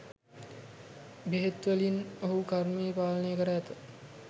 බෙහෙත් වලිං ඔහු කර්මය පාලනය කර ඇත.